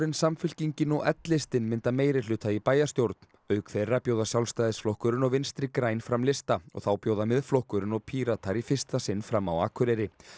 Samfylkingin og l listinn mynda meirihluta í bæjarstjórn auk þeirra bjóða Sjálfstæðisflokkurinn og Vinstri græn fram lista og þá bjóða Miðflokkurinn og Píratar í fyrsta sinn fram á Akureyri